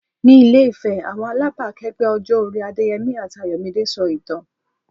Ní Ilé-Ifẹ̀, àwọn alábàákẹ́gbẹ́ ọjọ́ orí Adéyẹmi àti Ayọ̀míde sọ ìtàn.